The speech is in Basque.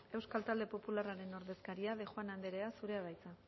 euskal talde popularraren ordezkaria de bengoechea andrea zurea da hitza